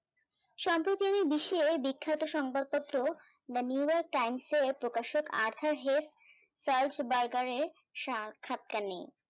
সম্পতিয়ামি বিষিয়ে বিখ্যাত সংবাদ পত্র the neural times এর প্রকাশক আর্থাহেল চার্লস বাইকার এর সাক্ষাৎটা নেই